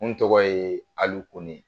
N tɔgɔ yee Alu kone.